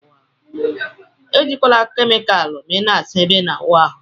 Ejikwana kemikal ma ina asa ebe ina awụ arụ.